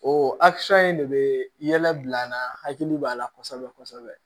O in de bɛ yɛlɛ bila an na hakili b'a la kosɛbɛ kosɛbɛ